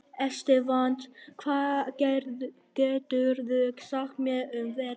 Estefan, hvað geturðu sagt mér um veðrið?